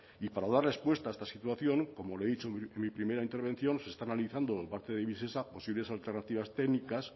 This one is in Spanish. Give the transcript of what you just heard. y para dar respuesta a esta situación como le he dicho en mi primera intervención se está analizando por parte de visesa posibles alternativas técnicas